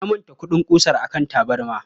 Na manta kuɗin ƙusar a kan tabarma.